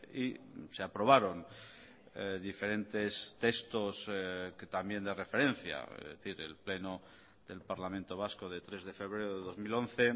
y se aprobaron diferentes textos que también de referencia es decir el pleno del parlamento vasco de tres de febrero de dos mil once